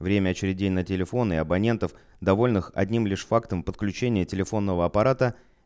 время очередей на телефоны абонентов довольных одним лишь фактом подключение телефонного аппарата